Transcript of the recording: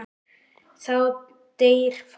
Þá deyr fólk.